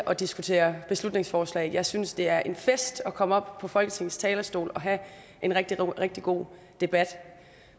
at diskutere beslutningsforslag jeg synes det er en fest at komme op på folketingets talerstol og have en rigtig rigtig god debat